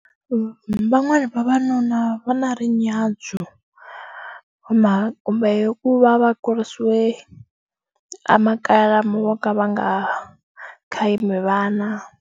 Van'wani vavanuna va na ri nyadzo mhaka kumbe ku va va kurisiwe a makaya lamo ka va nga khayimi vana.